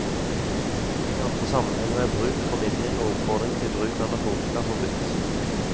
I andre sammenhenger er bruk, formidling og oppfordring til bruk av narkotika forbudt.